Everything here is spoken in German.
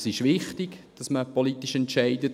Es ist wichtig, dass man politisch entscheidet.